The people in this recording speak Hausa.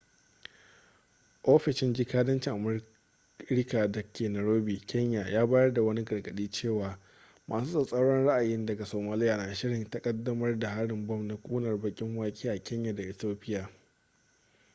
ofishin jikadancin amurika da ke nairobi kenya ya bayar da wani gargaɗi cewa masu tsatsauran ra'ayi daga somaliya na shirin ƙaddamar da harin bom na ƙunar-baƙin-wake a kenya da ethiopia